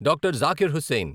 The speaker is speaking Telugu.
డాక్టర్. జకీర్ హుస్సేన్